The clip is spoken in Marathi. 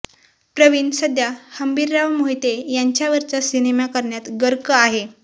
प्रवीण सध्या हंबीरराव मोहिते यांच्यावरचा सिनेमा करण्यात गर्क आहे